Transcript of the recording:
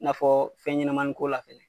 I n'afɔ fɛnɲɛnamani ko la fɛnɛ